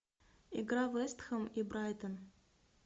игра вест хэм и брайтон